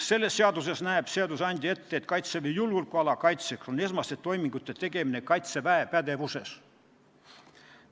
Selles seaduses näeb seadusandja ette, et Kaitseväe julgeolekuala kaitseks esmaste toimingute tegemine on Kaitseväe pädevuses.